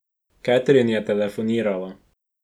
Katrine je telefonirala.